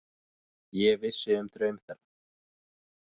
Ég vissi um draum þeirra.